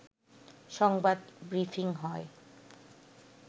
সংবাদ ব্রিফিং হয়